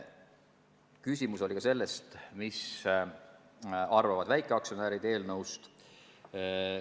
Küsimus oli ka, mida arvavad väikeaktsionärid eelnõust.